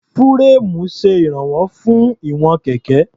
Fúréèmù ṣe ìránwọ́ fún ìwọ̀n kẹ̀kẹ́.